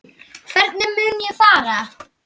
Hvernig mun ég fara?